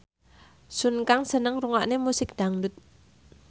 Sun Kang seneng ngrungokne musik dangdut